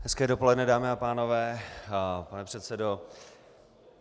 Hezké dopoledne dámy a pánové, pane předsedo.